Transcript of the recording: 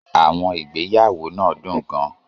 Àwọn ìgbéyàwó náà dùn gan-an.